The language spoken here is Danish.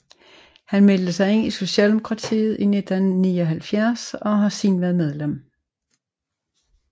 Han meldte sig ind i Socialdemokratiet i 1979 og har siden været medlem